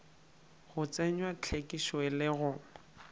go tsenywa hlwekišo le go